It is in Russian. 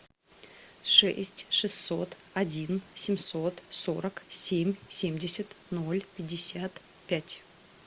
шесть шестьсот один семьсот сорок семь семьдесят ноль пятьдесят пять